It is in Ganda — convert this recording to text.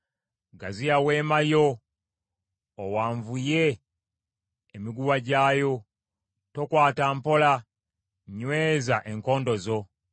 “Gaziya weema yo, owanvuye emiguwa gyayo, tokwata mpola; nyweza enkondo zo.